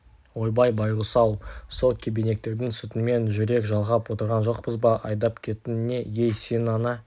ойбай байғұс-ау сол кебенектердің сүтімен жүрек жалғап отырған жоқпыз ба айдап кетің не ей сенің ана